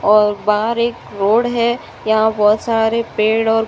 और बाहर एक रोड है यहाँ बहोत सारे पेड़ और --